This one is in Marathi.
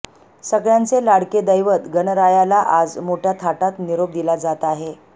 सगळ्यांचे लाडके दैवत गणरायाला आज मोठ्या थाटात निरोप दिला जात आहे